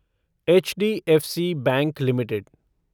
HDFC bank limited